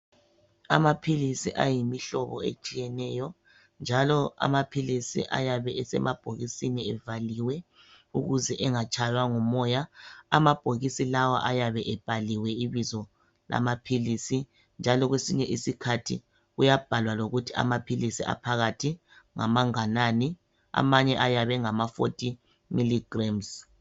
Amaphilisi ayimihlobo etshiyeneyo njalo amaphilisi ayabe esemabhokisini evaliwe ukuthi angatshaywa ngumoya. Amabhokisi lawa ayabe evaliwe ebhaliwe ibizo lamaphilisi njalo kwesinye isikhathi kuyabhalwa lokuthi phakathi ngamanganani amanye ayabe engama 40 mg.